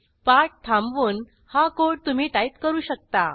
पाठ थांबवून हा कोड तुम्ही टाईप करू शकता